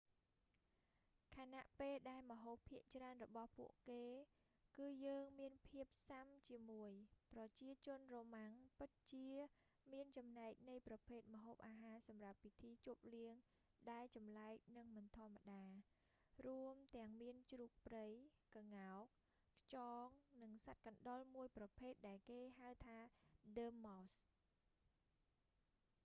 ខណៈពេលដែលម្ហូបភាគច្រើនរបស់ពួកគេគឺយើងមានភាពស៊ាំជាមួយ ប្រជាជនរ៉ូម៉ាំង romans ពិតជាមានចំណែកនៃប្រភេទម្ហូបអាហារសម្រាប់ពិធីជប់លៀងដែលចម្លែកនិងមិនធម្មតា រួមទាំងមានជ្រូកព្រៃ ក្ងោក ខ្យង និងសត្វកណ្តុរមួយប្រភេទដែលគេហៅថាដ័រម៉ោស dormouse